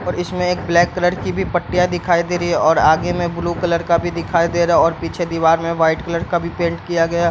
और इसमें एक ब्लैक कलर की भी पट्टियाँ दिखाई दे रही हैं और आगे में ब्लू कलर का भी दिखाई दे रहा है और पीछे दीवार में व्हाइट कलर का भी पेंट किया गया --